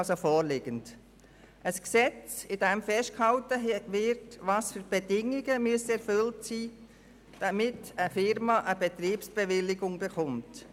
In diesem Gesetz wird festgehalten, welche Bedingungen erfüllt sein müssen, damit eine Firma eine Betriebsbewilligung erhält.